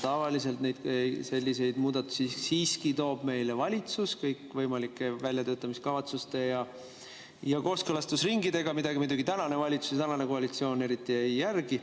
Tavaliselt selliseid muudatusi siiski toob meile valitsus kõikvõimalike väljatöötamiskavatsuste ja kooskõlastusringidega, mida muidugi tänane valitsus, tänane koalitsioon eriti ei järgi.